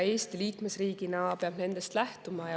Eesti liikmesriigina peab nendest lähtuma.